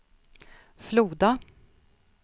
Floda